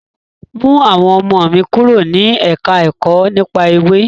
Mú àwọn ọmọ mi kúrò ní ẹ̀ka ẹ̀kọ́ nípa Ewé.